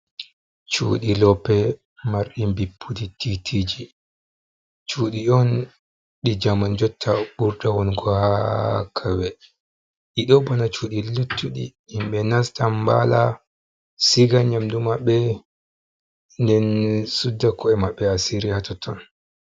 Cuuɗi loope mari mbipu tiitiiji, cuuɗi on ɗi jaman jotta ɓurda wongo haa kawye ɗido bana cuuɗi luttuɗi, himɓe nasta mbaala, siga nyamdu maɓɓe nden sudda ko’e maɓɓe asiiri h haa totton.